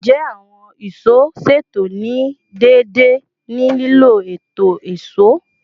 Njẹ awọn ìṣó ṣeto ni deede ni lilo eto ìṣó?